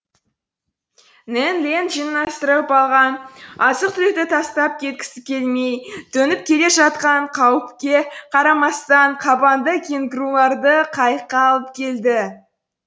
нед ленд жинастырып алған азық түлікті тастап кеткісі келмей төніп келе жатқан қауіпке қарамастан қабанды кенгуруларды қайыққа алып келді